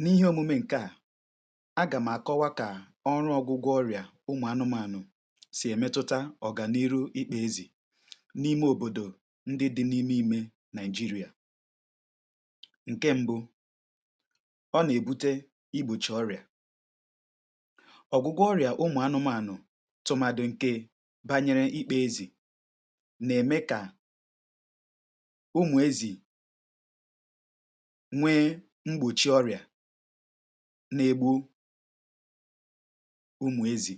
N’ihe omume nke à, agàm àkọwa ka ọrụ̇ ọgụgụ ọrị̀à ụmụ̀ anụmànụ̀ sì èmetuta ọ̀gàniru ịkpȧ ezì n’ime òbòdò ndị dị n’ime imė Nàịjịrị̀à. Ǹke mbụ, ọ nà-èbute igbòchi ọrị̀à. Ọ̀gụgụ ọrị̀à ụmụ̀ anụmànụ̀ tụmàdụ̀ ǹkè bànyere ịkpȧ ezì nà-ème kà, ụmụ̀ ezì nwee mgbòchi ọrịà na-egbu ụmụ̀ ezì.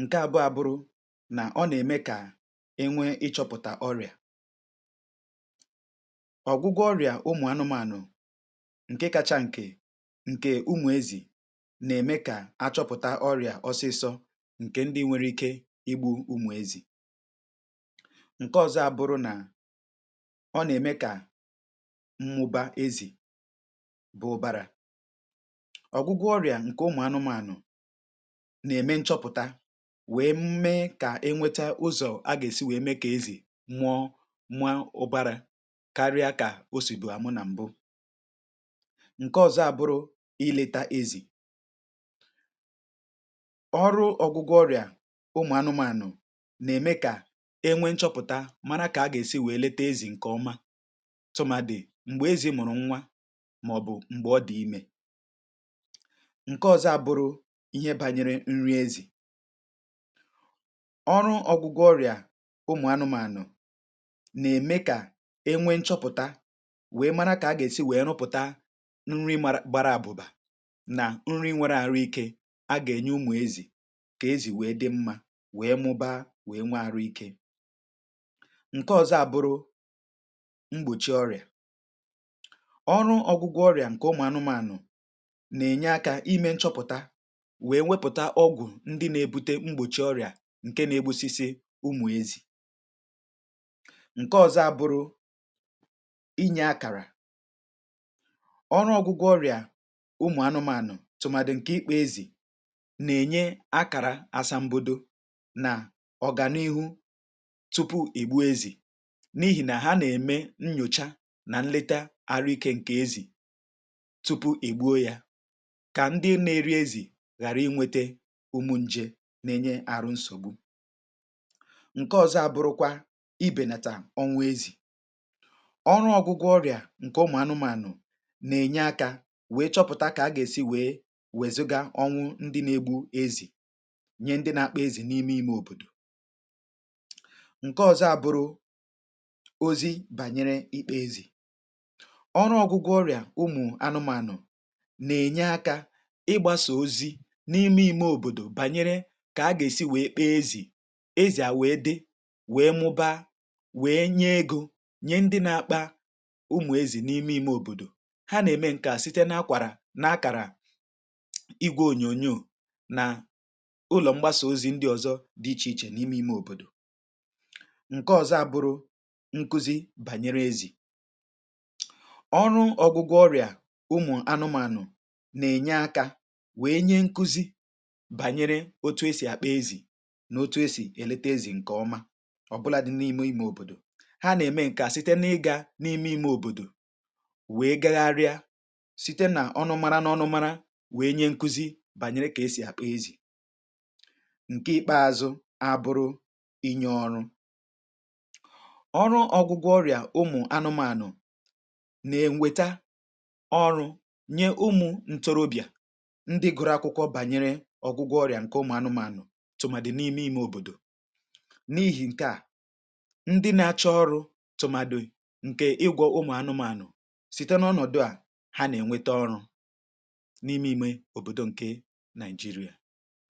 Nke abụọ abụrụ nà ọ nà-ème kà enwee ịchọpụ̀tà ọrịà. Ọgwụgwọ ọrịà ụmụ̀ anụmànụ̀ ǹke kacha ǹkè, ǹkè ụmụ̀ ezì, nà-ème kà achọpụ̀ta ọrịà ọsịsọ ǹkè ndị nwere ike ịgbụ̇ ụmụ̀ ezì. Nke ọzọ abụrụ nà, ọ nà-ème kà mmuba ezì bụ̀-ụ̀bara. Ọ̀gwụgwọ ọrịà ǹkè ụmụ̀ anụmànụ̀ nà-ème nchọpụ̀ta wee mee kà e nweta ụzọ̀ a gà-èsi wee mee kà ezì muọ mua ụbara karịa kà o sì bù àmụ nà m̀bụ. Ǹke ọ̀zọ àbụrụ, ileta ezì. Ọrụ ọgwụgwọ ọrịà ụmụ̀ anụmànụ̀ nà-ème kà e nwee nchọpụ̀ta mara kà a gà-èsi wee lete ezì ǹkè ọma tụmàdi m̀gbè ezì mụrụ nwa màọ̀bụ̀ m̀gbè ọ dị̀ imė. Ǹke ọ̇zọ̇ abụrụ, ihe bȧnyere nri ezì. Ọrụ ọ̇gwụgwọ ọrị̀à ụmụ̀ anụ̇mȧnụ̀ nà-ème kà enwee nchọpụ̀ta wee mara kà a gà-èsi wee nụpụ̀ta nri gbara àbụ̀bà nà nri nwėrė àrụ ikė a gà-ènye ụmụ̀ ezì kà ezì wee dị mmȧ wee mụbaa wee nwe-àrụ ikė. Ǹke ọ̇zọ̇ abụrụ, mgbòchi ọrị̀à. Ọrụ ọgwụgwọ ọrịà nke ụmụ anụmànụ nà-ènye akȧ ime nchọpụ̀ta wèe wepụ̀ta ọgwụ̀ ndị na-ebute mgbòchi ọrịà nke na-egbusisi ụmụ̀ ezì. Nke ọzọ abụrụ, inye akàrà. Ọrụ ọgwụgwọ ọrịà ụmụ̀ anụmànụ̀ tụmàdi nke ikpȧ ezì nà-ènye akàrà asambodo nà ọ̀gànihu tupu ègbue ezì n’ihì nà ha nà-ème nnyòcha na nleta arụ̀ike nke ezì tupu ègbuo yȧ kà ndị nȧ-eri ezì ghàra ịnwėtė ụmụ̇ njė nà-ènye àrụ nsògbu. Ǹke ọ̇zọ̇ àbụrụkwa, ibènàtà onwụ ezì. Ọrụ ọgụgụ ọrị̀à ǹke ụmụ̀ anụmànụ̀ nà-ènye akȧ wèe chọpụ̀ta kà a gà-èsi wèe wèzụga ọnwụ ndị nȧ-egbu ezì nye ndị nȧ-akpa ezì n’ime ìme òbòdò. Ǹke ọ̇zọ̇ àbụrụ, ozi̇ bànyere ikpa-ezì. Ọrụ ọgụgụ ọrịà ụmụ anụmanụ̀ na-enye aka ịgbasà ozi n’ime ime òbòdò bànyere kà a gà-èsi wee kpa-ezì, ezì a wee dị, wee mụbaa, wee nye egȯ nyè ndị na-akpȧ ụmụ̀ ezì n’ime ime òbòdò. Ha na-eme nke à site na-akwàrà na-akàrà igwė ònyònyoù na ụlọ̀ mgbasà ozi ndị ọ̀zọ dị ichè ichè n’ime ime òbòdò. Ṅkė ọ̀zọ abụrụ, nkuzi bànyere ezì. Ọrụ ọgụgụ ọrịà ụmụ̀ anụmànụ̀ nà-ènye akȧ wèe nye nkụzi̇ bànyere otu esì àkpa-ezì nà-otu esì èlete ezì ǹkè ọma ọbụladị̇ n’ime ime òbòdò. Ha nà-ème ǹkè a site n’ịgȧ n’ime ime òbòdò wèe gagharịa site nà ọnụmȧrȧ nà ọnụmȧrȧ wèe nye nkụzi bànyere kà esì àkpa-ezì. Ǹkè ikpeȧzụ̇ abụrụ, inye ọrụ. Ọrụ ọgụgụ ọrịà ụmụ̀ anụmànụ̀ ne-enweta ọrụ nye ụmụ ǹtọrọbịà ndị gụrụ akwụkwọ bànyere ọgwụgwọ ọrịà ǹke ụmụ̀ anụmȧnụ̀ tụ̀màdị̀ n’ime ime òbòdò. N’ihi ǹke à, ndị na-achọ ọrụ̇ tụ̀màdị̀ ǹke ịgwọ̇ ụmụ̀ anụmȧnụ̀, site n’ọnọ̀dụ̀ à, ha nà-ènweta ọrụ n’ime ime òbòdò ǹke Nàịjịrịà.